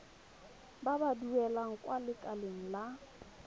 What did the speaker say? ba ba duelang kwa lekaleng